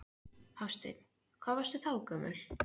Hafsteinn: Hvað varstu þá gömul?